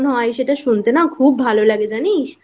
হয় সেটা শুনতে না খুব ভালো লাগে জানিস?